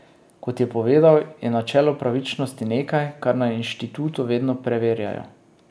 Kot je povedala, je načelo pravičnosti nekaj, kar na inštitutu vedno preverjajo.